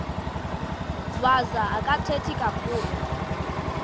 wazo akathethi kakhulu